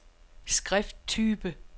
skrifttype